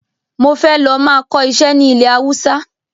Mo fẹ́ lọ máa kọ ìṣe ni ilẹ̀ Hausa